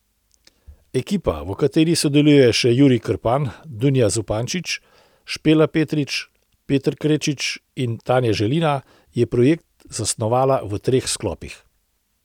Ekipa, v kateri sodelujejo še Jurij Krpan, Dunja Zupančič, Špela Petrič, Peter Krečič in Tanja Želina, je projekt zasnovala v treh sklopih.